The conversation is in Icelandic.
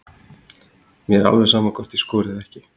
Mér er alveg sama hvort ég skori eða ekki.